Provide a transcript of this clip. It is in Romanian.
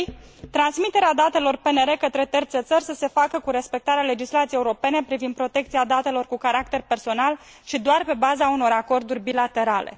3. transmiterea datelor PNR către terțe țări să se facă cu respectarea legislației europene privind protecția datelor cu caracter personal și doar pe baza unor acorduri bilaterale.